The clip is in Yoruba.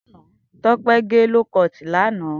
Tope gè lókọt làná